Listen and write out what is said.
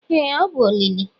ee ọ bụ olili